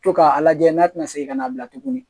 To k'a lajɛ n'a tɛna segin ka n'a bila tuguni